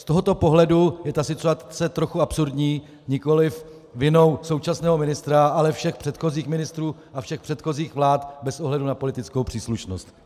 Z tohoto pohledu je ta situace trochu absurdní, nikoliv vinou současného ministra, ale všech předchozích ministrů a všech předchozích vlád bez ohledu na politickou příslušnost.